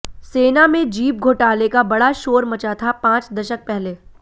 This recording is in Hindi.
सेना में जीप घोटाले का बड़ा शोर मचा था पांच दशक पहले